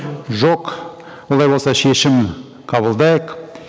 жоқ олай болса шешім қабылдайық